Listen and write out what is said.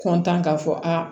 kɔntan k'a fɔ aa